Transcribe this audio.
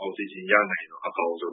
အောက်ဆီဂျင် ရနိုင်လျှင်တော့ အကောင်းဆုံ